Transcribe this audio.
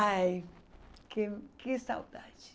Ai, que que saudade.